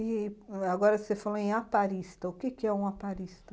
E agora você falou em aparista, o que que é um aparista?